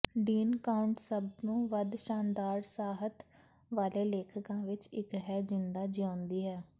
dean Koontz ਸਭ ਤੋਂ ਵੱਧ ਸ਼ਾਨਦਾਰ ਸਾਹਿਤ ਵਾਲੇ ਲੇਖਕਾਂ ਵਿੱਚੋਂ ਇਕ ਹੈ ਜਿੰਦਾ ਜਿਉਂਦਾ ਹੈ